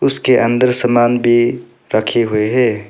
उसके अंदर सामान भी रखे हुए है।